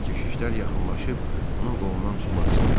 Keşişlər yaxınlaşıb onun qolundan tutmaq istədilər.